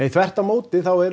þvert á móti eru